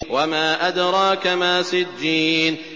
وَمَا أَدْرَاكَ مَا سِجِّينٌ